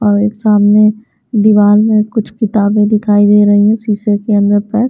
और एक सामने दीवार में कुछ किताबें दिखाई दे रही है शीशे के अंदर पे।